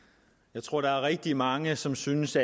jeg tror der er rigtig mange som synes